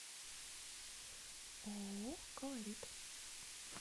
ооо колорит